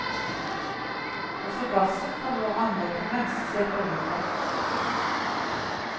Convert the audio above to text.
Også gassen fra våre anlegg kan renses i et oljefelt.